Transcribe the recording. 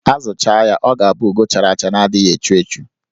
A zụchaa ya, ọ ga-abụ ugo chara acha na-adịghị echu echu.